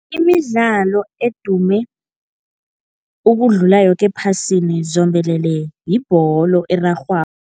Imidlalo edume ukudlula yoke ephasini zombelele yibholo